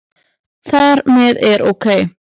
Þar með er OK!